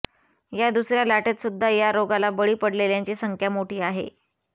या दुसर्या लाटेत सुद्धा या रोगाला बळी पडलेल्यांची संख्या मोठी आहे